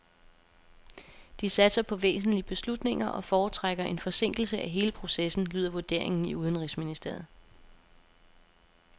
De satser på væsentlige beslutninger og foretrækker en forsinkelse af hele processen, lyder vurderingen i udenrigsministeriet.